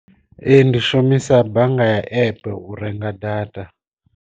Ee ndi shumisa bannga ya epe u renga data.